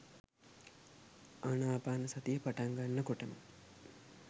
ආනාපානසතිය පටන් ගන්න කොටම